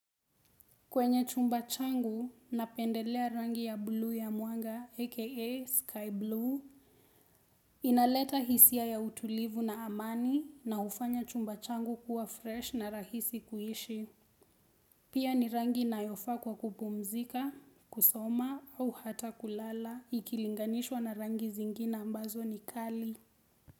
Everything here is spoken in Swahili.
Kwenye chumba changu, napendelea rangi ya blue ya mwanga aka sky blue. Inaleta hisia ya utulivu na amani na hufanya chumba changu kuwa fresh na rahisi kuishi. Pia ni rangi inayofa kwa kupumzika, kusoma au hata kulala ikilinganishwa na rangi zingine ambazo ni kali.